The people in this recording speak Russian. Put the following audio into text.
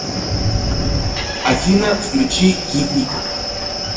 афина включи гивмик